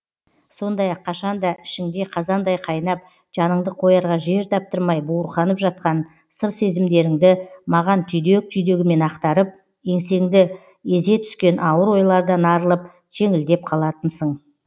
сондай ақ қашан да ішіңде қазандай қайнап жаныңды қоярға жер таптырмай буырқанып жатқан сыр сезімдеріңді маған түйдек түйдегімен ақтарып еңсеңді езе түскен ауыр ойлардан арылып жеңілдеп қалатынсың